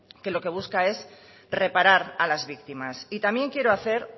que lo que busca es reparar a las víctimas y también quiero hacer